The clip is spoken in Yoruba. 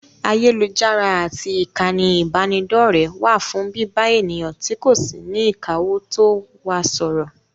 Ayélujára àti ìkànnì ìbánidọ́rẹ̀ẹ́ wà fún bíbá ènìyàn tí kò sí ní ìkáwótó wa sọ̀rọ̀.